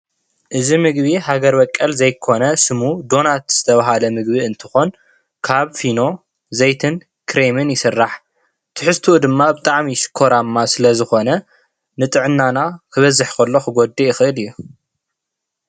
እዚ ምግቢ ሃገር በቀል ዘይኮነ ሽሙ ዶናት ዝተብሃለ ምግቢ እንትኾን ካብ ፊኖ ዘይትን ክሬምን ይስራሕ ። ትሕዝትኡ ድማ ብጣዕሚ ሽኮራማ ስለዝኾነ ንጥዕናና ክበዝሕ ከሎ ክጉዳይ ይኽእል እዩ።